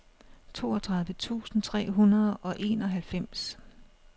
toogtredive tusind tre hundrede og enoghalvfems